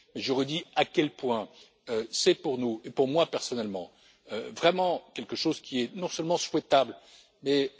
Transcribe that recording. aboutir. Je redis à quel point c'est pour nous, et pour moi personnellement, vraiment quelque chose qui est non seulement souhaitable mais